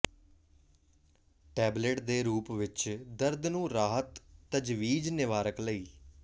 tablet ਦੇ ਰੂਪ ਵਿਚ ਦਰਦ ਨੂੰ ਰਾਹਤ ਤਜਵੀਜ਼ ਿਨਵਾਰਕ ਲਈ